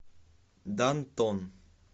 дантон